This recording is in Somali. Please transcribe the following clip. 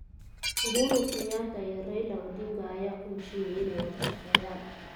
Uhuru Kenyatta iyo Raila Odinga ayaa ku heshiiyay inay wada shaqeeyaan.